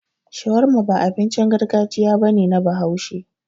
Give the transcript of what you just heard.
Shawarma ba abincin gargajiya ba ne na Bahaushe.